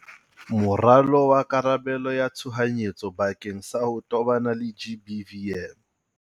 Moralo wa karabelo ya tshohanyetso bakeng sa ho tobana le GBVM.